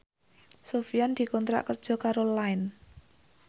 Sofyan dikontrak kerja karo Line